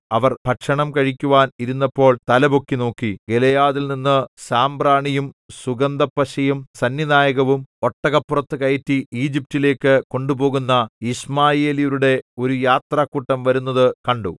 അവർ ഭക്ഷണം കഴിക്കുവാൻ ഇരുന്നപ്പോൾ തലപൊക്കി നോക്കി ഗിലെയാദിൽനിന്ന് സാമ്പ്രാണിയും സുഗന്ധപ്പശയും സന്നിനായകവും ഒട്ടകപ്പുറത്തു കയറ്റി ഈജിപ്റ്റിലേക്കു കൊണ്ടുപോകുന്ന യിശ്മായേല്യരുടെ ഒരു യാത്രക്കൂട്ടം വരുന്നത് കണ്ടു